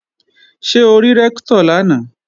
Ṣé o rí Rẹ́ktọ̀ lánàá?